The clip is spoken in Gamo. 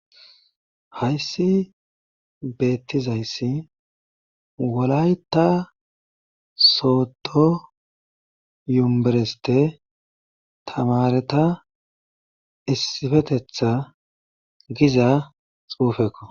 Hayssi beetizayssi wolayta soodo yunvuste taamareta issipetheta giza xuufekko.